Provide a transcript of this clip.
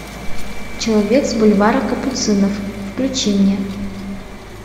человек с бульвара капуцинов включи мне